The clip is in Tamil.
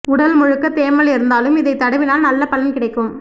உடல் முழுக்க தேமல் இருந்தாலும் இதை தடவினால் நல்ல பலன் கிடைக்கும்